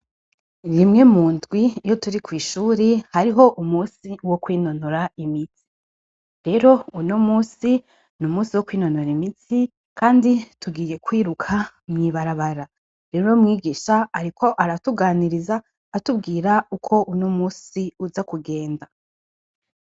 Rimwe mu ndwi iyo turi kw'ishuri hariho umusi wo kwinonora imisti rero uno musi ni umusi wo kwinonora imitsi, kandi tugiye kwiruka mwibarabara rero umwigisha, ariko aratuganiriza atubwira uko uno musi uza kugenda.